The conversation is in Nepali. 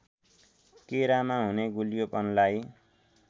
केरामा हुने गुलियोपनलाई